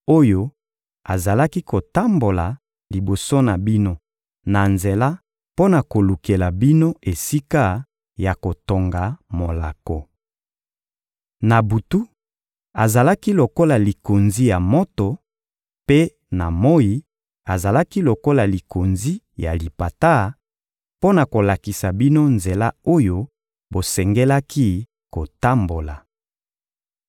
oyo azalaki kotambola liboso na bino na nzela mpo na kolukela bino esika ya kotonga molako. Na butu, azalaki lokola likonzi ya moto; mpe na moyi, azalaki lokola likonzi ya lipata; mpo na kolakisa bino nzela oyo bosengelaki kotambola.